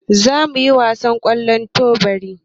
Za mu yi wasan ƙwallon teburi.